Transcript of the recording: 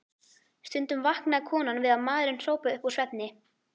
Stundum vaknaði konan við að maðurinn hrópaði upp úr svefni